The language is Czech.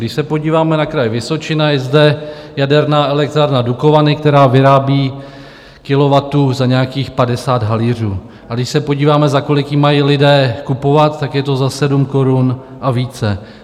Když se podíváme na Kraj Vysočina, je zde jaderná elektrárna Dukovany, která vyrábí kilowattu za nějakých 50 haléřů, a když se podíváme, za kolik ji mají lidé kupovat, tak je to za 7 korun a více.